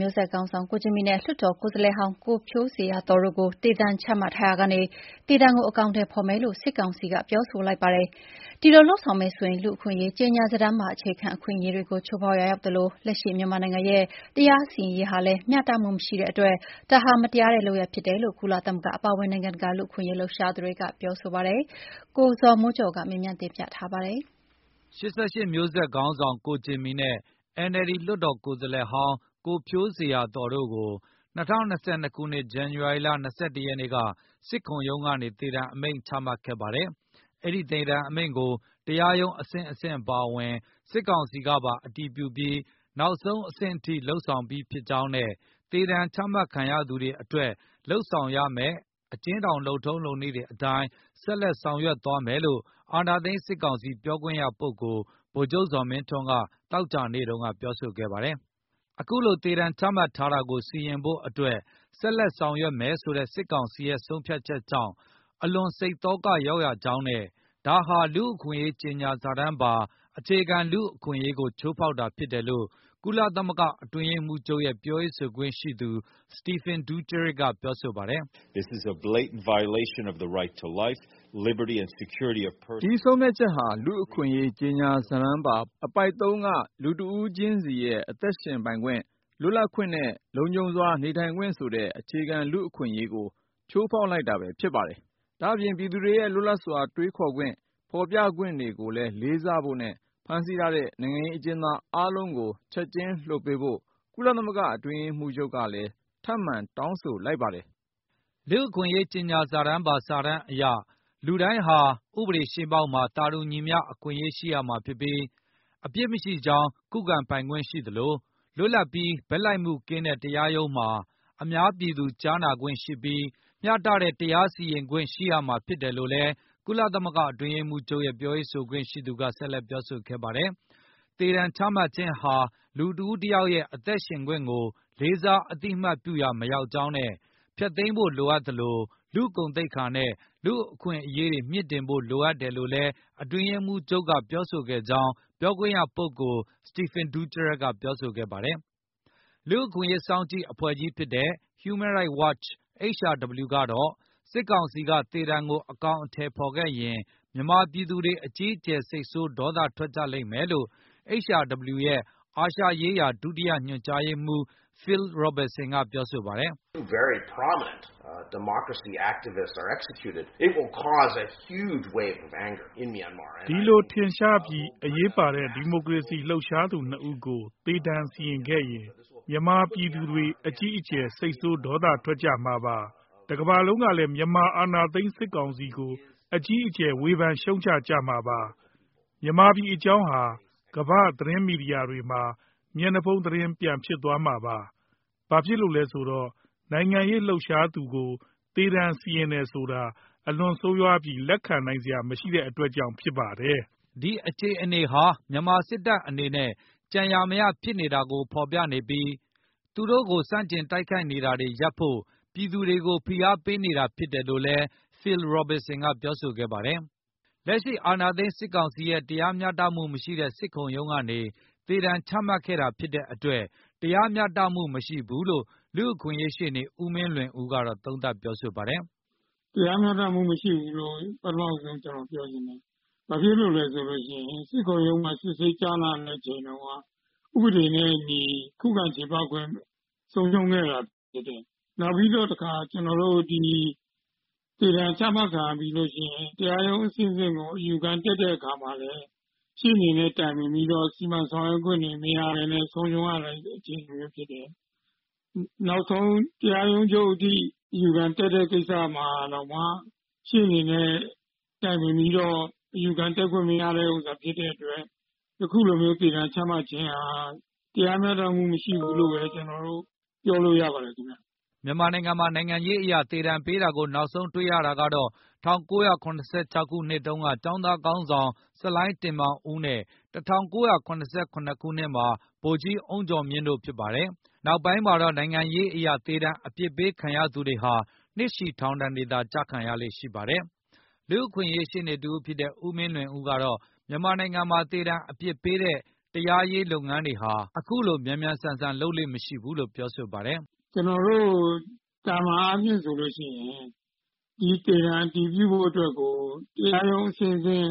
မျိုးဆက်ခေါင်းဆောင် ကိုဂျင်မီနဲ့ လွှတ်တော်ကိုယ်စားလှယ်ဟောင်း ကိုဖြိုးဇေယျာသော် တို့ကို သေဒဏ်ချမှတ်ထားရာကနေ သေဒဏ်ကို အကောင်အထည်ဖေါ်မယ်လို့ စစ်ကောင်စီက ပြောဆိုလိုက်ပါတယ်။ ဒီလိုလုပ်ဆောင်မယ်ဆိုရင် လူ့အခွင့်အရေး ကြေညာစာတမ်းပါ အခြေခံ အခွင့်အရေးတွေကို ချိုးဖေါက်ရာရောက်သလို၊ လက်ရှိမြန်မာ နိုင်ငံရဲ့တရားစီရင်ရေးဟာလည် းမျှတမှုမရှိတဲ့အတွက် ဒါဟာမတရားတဲ့လုပ်ရပ်ဖြစ်တယ်လို့ ကုလသမဂ္ဂအပါအဝင်၊ နိုင်ငံတကာလူ့အခွင့်အရေး လှုပ်ရှားသူတွေက ပြောဆိုလိုက်ပါတယ်။ ၈၈ မျိုးဆက်ခေါင်းဆောင် ကိုဂျင်မီ နဲ့ NLD လွှတ်တော်ကိုယ်စားလှယ်ဟောင်း ကိုဖြိုးဇေယျာသော် တို့ကို ၂၀၂၂ ခုနှစ် ဇန္နဝါရီ ၂၁ ရက်နေ့က စစ်ခုံရုံးကနေ သေဒဏ်အမိန့်ချမှတ်ခဲ့ပါတယ်။ အဲဒိသေဒဏ်အမိန့်ကို တရားရုံးအဆင့်ဆင့်အပါအဝင်၊ စစ်ကောင်စီ ကပါ အတည်ပြုပြီး၊ နောက်ဆုံးအဆင့်အထိ လုပ်ဆောင်ပြီး ဖြစ်ကြောင်းနဲ့ သေဒဏ်ချမှတ် ခံရသူတွေအတွက်လုပ်ဆောင်ရမယ့် အကျဉ်းထောင် လုပ်ထုံးလုပ်နည်းတွေအတိုင်း ဆက်လက်ဆောင်ရွက်သွားမယ်လို့ အာဏာသိမ်း စစ်ကောင်စီ ပြောခွင့်ရပုဂ္ဂိုလ် ဗိုလ်ချုပ်ဇော်မင်းထွန်း က သောကြာနေ့ ကပြောဆိုခဲ့ပါတယ်။ အခုလို သေဒဏ်ချမှတ်ထားတာကို စီရင်ဖို့အတွက် ဆက်လက်ဆောင်ရွက်မယ်ဆိုတဲ့ စစ်ကောင်စီရဲ့ ဆုံးဖြတ်ချက်ကြောင့် အလွန်စိတ်သောကရောက်ရကြောင်းနဲ့ ဒါဟာ လူ့အခွင့်အရေးကြေညာစာတမ်းပါ အခြေခံ လူ့အခွင့်အရေးကို ချိုးဖေါက်တာဖြစ်တယ်လို့ ကုလသမဂ္ဂအတွင်းရေးမှုးချုပ်ရဲ့ ပြောခွင့်ရပုဂ္ဂိုလ် Stephane Dujarric ကပြောဆိုပါ တယ်။ “ ဒီဆုံးဖြတ်ချက်ဟာ လူ့အခွင့်အရေး ကြေညာစာတမ်းပါအပုဒ် ၃ က လူတဦးခြင်းစီရဲ့ အသက်ရှင်ပိုင်ခွင့်၊ လွတ်လပ်ခွင့်နဲ့ လုံခြုံစွာနေထိုင်ခွင့်ဆိုတဲ့ အခြေခံလူ့အခွင့်အရေးကို ချိုးဖေါက်တာဘဲဖြစ်ပါတယ်။ ဒါ့အပြင် ပြည်သူတွေရဲ့ လွတ်လပ်စွာတွေးခေါ်ခွင့်၊ ဖေါ်ပြခွင့်ကိုလေးစားဖို့နဲ့ ဖမ်းဆီးထားတဲ့ နိုင်ငံရေး အကျဉ်းသားအားလုံး ကိုချက်ခြင်းလွှတ်ပေးဖို့ ကုလသမဂ္ဂအတွင်းရေးမှုးချုပ် ကလည်း ထပ်မံတောင်းဆိုလိုက်ပါတယ်။” လူ့ခွင့်အရေးကြေညာစာတမ်းအရ လူတိုင်းဟာ ဥပဒေရှေ့မှောက်မှာ သာတူညီမျှ အခွင့်ရေး ရှိရမှာဖြစ်ပြီး၊ အပြစ်မရှိကြောင်း ခုခံပိုင်ခွင့်ရှိသလို၊ လွတ်လပ်ပြီး ဘက်လိုက်မှုကင်းတဲ့တ ရားရုံးမှာ အများပြည်သူကြားနာခွင့်ရှိပြီး၊ မျှတတဲ့ တရားစီရင်ခွင့်ရရှိရမှာဖြစ်တယ်လို့လည်း ကုလသမဂ္ဂ အတွင်းရေးမှုးချုပ်ရဲ့ ပြောခွင့်ရ ပုဂ္ဂိုလ်က ဆက်လက်ပြောဆိုပါတယ်။ သေဒဏ်ချမှတ်ခြင်းဟာ လူတဦးတယောက်ရဲ့ အသက်ရှင်ခွင့်ကို လေးစားအသိအမှတ် ပြုရာမရောက်ကြောင်းနဲ့ ဖျက်သိမ်းဖိုလိုအပ်သလို၊ လူ့ဂုဏ်သိက္ခာနဲ့ လူ့အခွင့်အရေးတွေကို မြှင့်တင်ဖို့လိုတယ်လို့လည်း အတွင်းရေးမှူးချုပ်က ပြောဆိုကြောင် းပြောခွင့်ရသူ Stephane Dujarric ပြောဆိုခဲ့ပါတယ်။ လူ့အခွင့်အရေးစောင့်ကြည့်အဖွဲ့ကြီးဖြစ်တဲ့ Human Rights Watch HRW ကတော့ စစ်ကောင်စီကသေဒဏ်ကို အကောင်အထည်ဖေါ်ခဲ့ရင် မြန်မာပြည်သူတွေ အကြီးအကျယ် စိတ်ဆိုးဒေါသထွက်ကြလိမ့်မယ်လို့ HRW ရဲ့အာရှဒေသဆိုင်ရာ ဒုတိယညွန် ကြားရေးမှုး Phil Robertson ပြောဆိုပါတယ်။ “ဒီလိုထင်ရှားပြီး အရေးပါတဲ့ ဒီမိုကရေစီ လှုပ်ရှားသူနှစ်ဦးကို သေဒဏ်စီရင်ခဲ့ရင်၊ မြန်မာပြည်သူတွေ အကြီးအကျယ် စိတ်ဆိုးဒေါသထွက်ကြမှာပါ။ တကမ္ဘာလုံးကလည်း မြန်မာ အာဏာသိမ်း စစ်ကောင်စီကို အကြီးအကျယ် ဝေဖန်ရှုံချကြမှာပါ။ မြန်မာပြည်အကြောင်း ကမ္ဘာ့သတင်းမီဒီယာတွေမှာ မျက်နှာဖုံးသတင်း ပြန်ဖြစ်သွားမှာပါ။ ဘာဖြစ်လို့လဲဆိုတော့ နိုင်ငံရေး လှုပ်ရှားသူကို သေဒါဏ်စီရင်တယ်ဆိုတာ အလွန်ဆိုးရွားပြီး လက်ခံနိုင်စရာမရှိတဲ့ အတွက်ဖြစ်ပါတယ်။” ဒီအခြေအနေဟာ မြန်မာစစ်တပ်အနေနဲ့ ကြံရာမရဖြစ်နေတာကို ဖေါ်ပြနေပြီး သူတို့ကို ဆန့်ကျင်တိုက်ခိုက်နေတာတွေရပ်ဖို့၊ ပြည်သူတွေကို ဖိအားပေးနေတာဖြစ်တယ်လို့လည်း ပြောဆိုခဲ့ပါတယ်။ လက်ရှိအာဏာသိမ် းစစ်ကောင်စီရဲ့ တရားမျှတမှုမရှိတဲ့ စစ်ခုံရုံးကနေ သေဒဏ်ချမှတ်တာဖြစ်တဲ့အတွက် တရားမျှတမှု မရှိဘူးလို့ လူ့အခွင့်အရေး ရှေ့နေ ဦးမင်းလွင်ဦး က သုံးသပ်ပြောဆိုပါတယ်။ "တရားမျှတမှုမရှိဘူးလို့ ပထမဦးဆုံးကျနော်ပြောချင်ပါတယ်။ ဘာဖြစ်လို့လဲဆိုလို့ရှိရင် စစ်ခုံရုံးမှာ စစ်ဆေးကြားနာတဲ့အချိန်တုန်းက ဥပဒေနဲ့အညီခုခံချေပခွင့်ဆုံးရှုံးခဲ့တာဖြစ် တယ်။ နောက်ပြီးတော့တခါ၊ ကျနော်တို့ ၊ သေဒါဏ်ချမှတ်ခံရပြီးနောက် တရားရုံးအဆင့် ဆင့်ကိုအယူခံတက်တဲ့အခါမှာလည်း ရှေ့နေနဲ့တိုင်ပင်ပြီးတော့ စီမံဆောင်ရွက်ခွင့်တွေ မရဘဲနဲ့ ဆုံးရှုံးရတဲ့အခြေအနေမျိုးဖြစ်တယ်။ နောက်ဆုံးတရားရုံးချုပ်အထိ အယူခံတက် တဲ့ကိစ္စမှာတောင်မှ ရှေ့နေနဲ့တိုင်ပင်ပြီးတော့ အယူခံတက်ခွင့်မရခဲ့တာဖြစ်တဲ့အတွက် အခုလိုမျိုးသေဒါဏ်ချမှတ်ခြင်းဟာ တရားမျှတမှုမရှိဘူးလို့ပြောလို့ရပါတယ်ခင်ဗျ" မြန်မာနိုင်ငံမှာ နိုင်ငံရေးအရ သေဒဏ်ပေးတာကို နောက်ဆုံးတွေ့ရတာကတော့ ၁၉၇၆ ခုနှစ်တုန်းက ကျောင်းသား ခေါင်း ဆောင် ဆလိုင်းတင်မောင်ဦးနဲ့ ၁၉၇၇ ခုနှစ်မှာ ဗိုလ်ကြီးအုန်းကျော်မြင့်တို့က ဖြစ်ပါတယ်။ နောက်ပိုင်းမှာတော့ နိုင်ငံရေးအရ သေဒဏ်အပြစ်ပေးခံရသူတွေဟာ နှစ်ရှည်ထောင်ဒဏ်တွေသော ကျခံရလေ့ ရှိပါတယ်။ လူ့အခွင့်အရေးရှေ့နေတဦးဖြစ်တဲ့ ဦးမင်လွင်ဦးကတော့ မြန်မာနိုင်ငံမှာ သေဒဏ်အပြစ်ပေးတဲ့ တရားရေးလုပ်ငန်းတွေဟာ အခုလို မြန်မြန်ဆန်ဆန် လုပ်လေ့မရှိဘူးလို့ ပြောပါတယ်။ " ကျနော်တို့သာမန်အားဖြင့်ဆိုလို့ရှိရင် သေဒဏ်အတည်ပြုဖို့အတွက်ကို တရားရုံးအဆင့် ဆင့်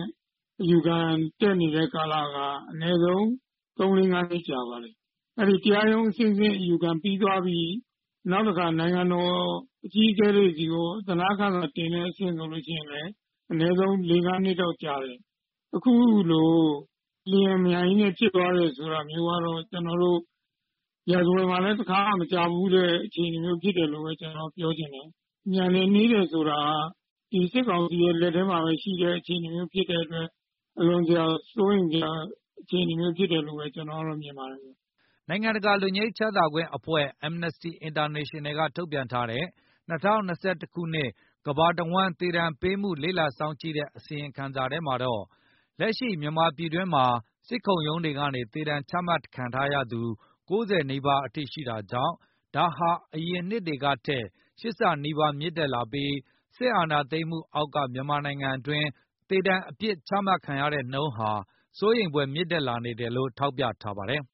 အယူခံတက်နေတဲ့ကာလက အနည်းဆုံးသုံးလေးငါးနှစ်ကြာပါတယ်။ တရားရုံးအ ဆင့်ဆင့်အယူခံပြီးသွားပြီး၊ နောက်တခါနိုင်ငံတော်အကြီးအကဲတွေဆီကို အသနားခံစာ တင်တဲ့အဆင့်ဆိုလို့ရှိရင်လည်း အနည်းဆုံးလေးငါးနှစ်လောက်ကြာတယ်။ အခုလို အလျင်အမြန်ဖြစ်သွားတယ် ဆိုတာမျိုးကတော့ ကျနော်တို့ ရာဇဝင်မှာလည်း တခါမှမ ကြားဖူးတဲ့အခြေအနေမျိုးဖြစ်တယ်လို့ဘဲကနော်တော့ပြောချင်တယ်။ မြန်တယ်နှေး တယ်ဆိုတာက ဒီစစ်ကောင်စီရဲ့လက်ထဲမှာဘဲရှိတဲ့ အခြေအနေမျိုးဖြစ်တဲ့အတွက် အလွန်တရာစိုးရိမ်စရာအခြေအနေမျိုးဖြစ်တယ်လို့ဘဲ ကျနော်တော့မြင်ပါတယ်"။ နိုင်ငံတကာလွတ်ငြိမ်းချမ်းသာအဖွဲ့(Amnesty International)ကထုတ်ပြန်ထားတဲ့ ၂၀၂၁ ခုနှစ် ကမ္ဘာတဝန်းသေဒဏ်ပေးမှုကို လေ့လာစောင့်ကြည့်တဲ့အစီရင်ခံစာမှာတော့ လက်ရှိမှာ မြန်မာပြည်တွင်းမှာ စစ်ခုံရုံးတွေကနေ သေဒဏ်ချမှတ်ခံထားရသူ ၉၀ နီးပါးအထိရှိနေတာကြောင့် ဒါဟာ အရင်နှစ်တွေကထက် ၈ ဆနီးပါးမြင့်တက်လာပြီး စစ်အာဏာသိမ်းမှုအောက်က မြန်မာနိုင်ငံတွင်း သေဒဏ်အပြစ်ဒဏ်ချမှတ်နှုန်းဟာ စိုးရိမ်ဖွယ်မြင့်တက်လာနေတယ်လို့ ထောက်ပြထားပါတယ်။